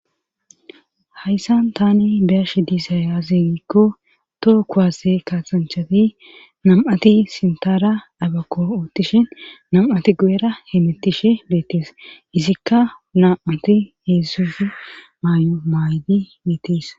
hayssan tani biyashi dizay aze giikko too kuwase kaasanchati nam7ati sintara abakko oottishin nam7ati gu7era he bettishe beettees izikka nam7ati heedzsuzi maay7o maaydi beettees